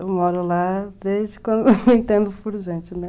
Eu moro lá desde quando eu entendo por gente, né?